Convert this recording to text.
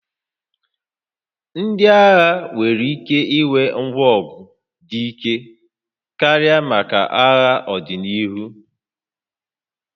Ndị agha nwere ike ịnwe ngwa ọgụ dị ike karị maka agha n'ọdịnihu